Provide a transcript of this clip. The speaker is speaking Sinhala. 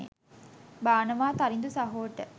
බානවා තරිඳු සහෝට